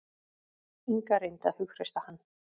Inga reyndi að hughreysta hann.